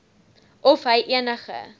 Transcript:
of hy enige